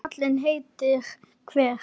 Þó að kali heitur hver